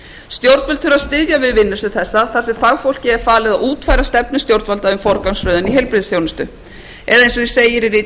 stjórnvöld þurfa að styðja við vinnu sem þessa þar sem fagfólki er falið að útfæra stefnu stjórnvalda um forgangsröðun í heilbrigðisþjónustu eða eins og segir í riti